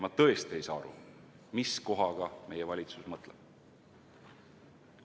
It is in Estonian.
Ma tõesti ei saa aru, mis kohaga meie valitsus mõtleb.